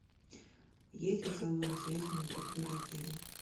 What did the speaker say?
есть ли салоны связи на территории отеля